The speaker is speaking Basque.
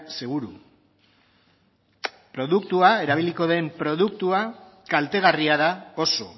seguru produktua erabiliko den produktua kaltegarria da oso